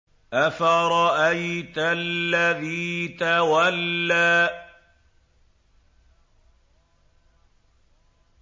أَفَرَأَيْتَ الَّذِي تَوَلَّىٰ